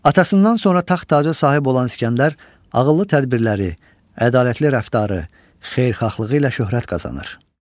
Atasından sonra taxt tacı sahib olan İsgəndər ağıllı tədbirləri, ədalətli rəftarı, xeyirxahlığı ilə şöhrət qazanır.